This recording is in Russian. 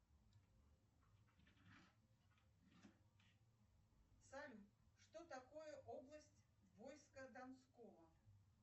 салют что такое область войска донского